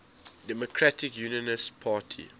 democratic unionist party